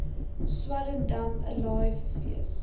swellendam alive fees